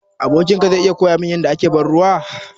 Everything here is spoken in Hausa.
Abokin ka zai iya koya min yadda ake ban ruwa?